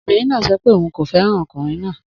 Obìnrin náà sọ pé òun kò fẹ́ràn ọkùnrin náà.